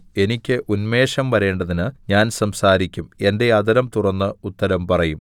എനിക്ക് ഉന്മേഷം വരേണ്ടതിന് ഞാൻ സംസാരിക്കും എന്റെ അധരം തുറന്ന് ഉത്തരം പറയും